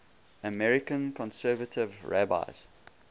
american conservative rabbis